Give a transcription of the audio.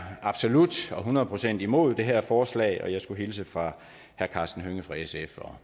absolut og hundrede procent imod det her forslag og jeg skulle hilse fra herre karsten hønge fra sf og